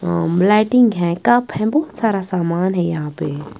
Lighting है cup है बहुत सारा सामान है यहाँ पे।